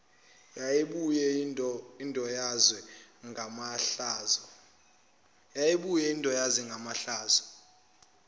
yayibuye idunyazwe ngamahlazo